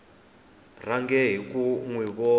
rhange hi ku n wi